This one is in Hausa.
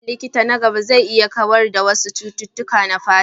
Ayyukan likita na gaba zai iya haifar da kawar da wasu cututtuka na fata.